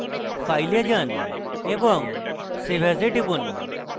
file এ যান এবং save as এ টিপুন